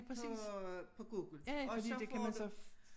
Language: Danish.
På på Google og så får du